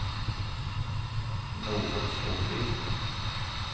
Norunn Solli